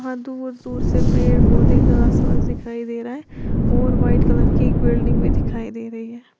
दूर-दूर से पेड़-पौधे घास वास दिखाई दे रहा है और वाइट कलर की एक बिल्डिंग भी दिखाई दे रही है।